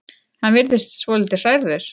Hann virðist svolítið hrærður.